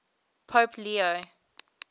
pope leo